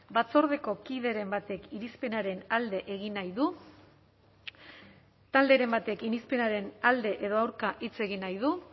batzordeko kideren batek irizpenaren alde egin nahi du talderen batek irizpenaren alde edo aurka hitz egin nahi du